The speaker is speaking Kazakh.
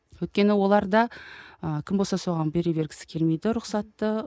өйткені олар да ы кім болса соған бере бергісі келмейді рұқсатты